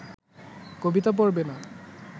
কবিতা পড়বে না